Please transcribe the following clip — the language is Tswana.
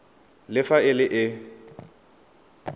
le fa e le e